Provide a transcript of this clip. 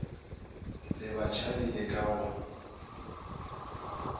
le batšhabi le ka go